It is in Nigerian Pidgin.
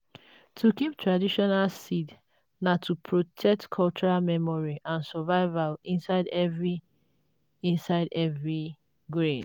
to keep traditional seeds na to protect cultural memory and survival inside every inside every grain.